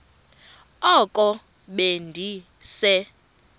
oko be ndise